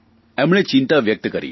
એમણે ચિંતા વ્યકત કરી